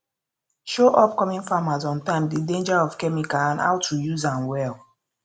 show upcoming farmers ontime the danger of chemical and how to use am well